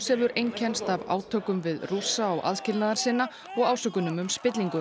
hefur einkennst af átökum við Rússa og aðskilnaðarsinna og ásökunum um spillingu